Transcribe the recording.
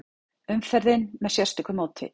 Umferðin með sérstöku móti